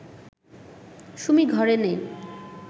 সুমি ঘরে নেই